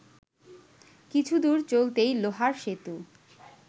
কিছুদূর চলতেই লোহার সেতু